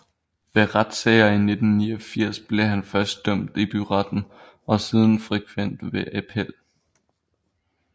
Ved retssager i 1989 blev han først dømt i byretten og siden frikendt ved appel